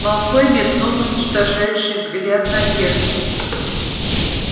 малфой метнул уничтожающий взгляд на перси